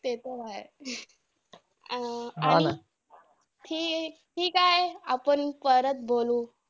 ते तर आहे! अं आणि ठीक आहे. आपण परत बोलू.